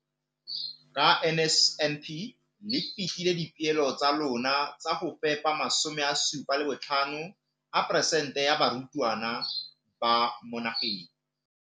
Ka NSNP le fetile dipeelo tsa lona tsa go fepa 75 percent ya barutwana ba mo nageng.